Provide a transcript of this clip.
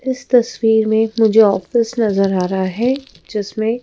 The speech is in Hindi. इस तस्वीर में मुझे ऑफिस नजर आ रहा है जिसमें--